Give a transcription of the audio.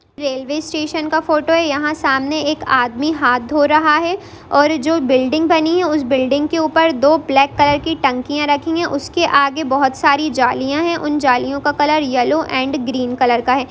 Railway station का photo है यहाँ सामने एक आदमी हाथ धो रहा है और जो बिल्डिंग बनी है उसे बिल्डिंग उसके ऊपर दो ब्लैक कलर की टंकियाँ रखी हुई है उसके आगे बहुत सारी जालियाँ हैं उन जालियाँ का colour yellow and green colour का है।